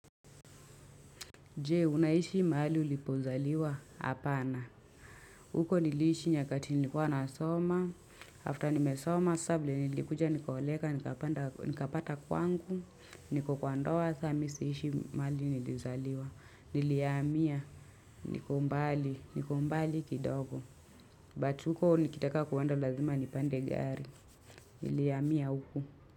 Jee, unaishi maali ulipozaliwa apana. Huko nilishi nyakati nilikuwa nasoma. After nimesoma, savile nilikuja nikaoleka, nikapanda nikapata kwangu, niko kwa ndoa, samisi ishi maali nilizaliwa. Niliyamia, nikombali, nikombali kidogo. But huko nikitaka kueanda lazima nipande gari. Niliyamia huku.